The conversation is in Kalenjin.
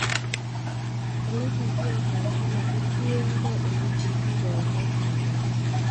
Ele kikiyaita en kila kotienge ele kikoindo chanchanet